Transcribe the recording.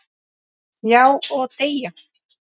Já, og deyja